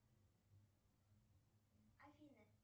афина